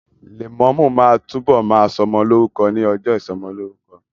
Lẹ̀mọ́mú ma túbọ̀ ma sọmọ lórúkọ ní ọjọ́ ìsọmọlórúkọ